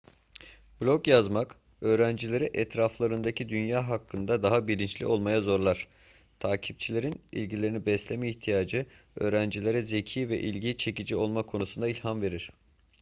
blog yazmak öğrencileri etraflarındaki dünya hakkında daha bilinçli olmaya zorlar". takipçilerin ilgilerini besleme ihtiyacı öğrencilere zeki ve ilgi çekici olma konusunda ilham verir toto 2004